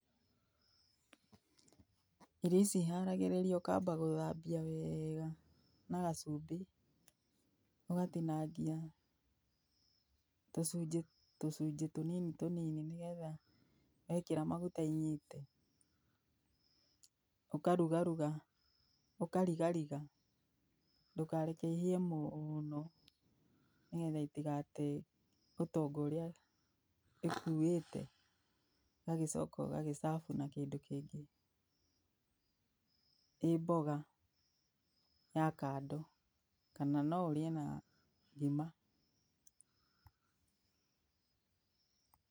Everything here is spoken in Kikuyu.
Irio ici iharagĩrĩrio ũkamba gũthambia weega na gacumbĩ, ũgatinangia tũcunjĩ tũcunjĩ tũnini tũnini nĩgetha wekĩra maguta inyite. Ũkarugaruga ũkarigariga ndũkareke ihĩe mũũno nĩgetha itigate ũtonga ũrĩa ĩkuĩte. Ũgagĩcoka ũgagĩ serve na kĩndũ kĩngĩ ĩĩ mboga ya kando, kana no ũrĩe na ngima. Pause